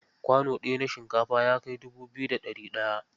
Kwano ɗaya na shinkafa ya kai dubu biyu da ɗari ɗaya.